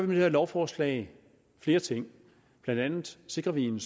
det her lovforslag flere ting blandt andet sikrer vi en